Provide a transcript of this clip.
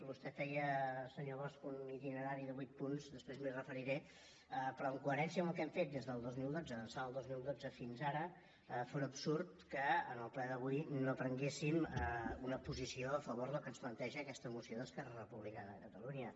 vostè feia senyor bosch un itinerari de vuit punts després m’hi referiré però en coherència amb el que hem fet des del dos mil dotze d’ençà del dos mil dotze fins ara fóra absurd que en el ple d’avui no prenguéssim una posició a favor del que ens planteja aquesta moció d’esquerra republicana de catalunya